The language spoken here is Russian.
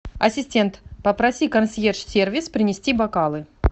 ассистент попроси консьерж сервис принести бокалы